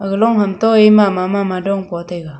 aga long hamto ee mama mama dong po taiga.